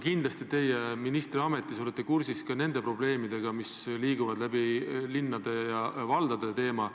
Kindlasti teie ministriametis olete kursis ka nende probleemidega, mis liiguvad läbi linnade ja valdade teema.